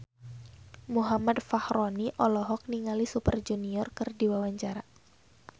Muhammad Fachroni olohok ningali Super Junior keur diwawancara